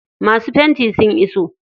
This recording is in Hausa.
Masu fenti sun iso.